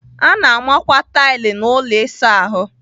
A na-amakwa tailu n'ụlọ ịsa ahụ.